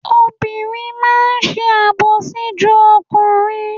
Obìnrin máa ń sàbòsí ju ọkùnrin.